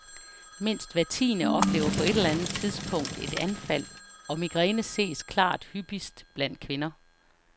Mindst hver tiende oplever på et eller andet tidspunkt et anfald, og migræne ses klart hyppigst blandt kvinder.